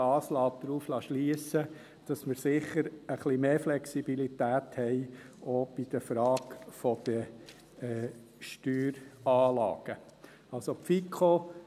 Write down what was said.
Auch dies lässt darauf schliessen, dass wir sicher auch bei der Frage der Steueranlagen etwas mehr Flexibilität haben.